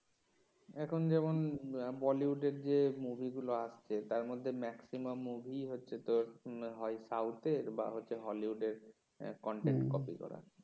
এখন যেমন বলিউডের যে মুভিগুলো আছে তার মধ্যে maximum মুভিই হচ্ছে তোর হয় সউথের বা হচ্ছে হলিউডের content কপি করা